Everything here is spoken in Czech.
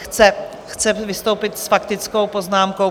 Chce vystoupit s faktickou poznámkou.